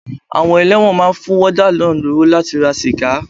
Àwọn elẹ́wọ̀n máa ń fún wọ́dà náà lówó láti ra sìgá.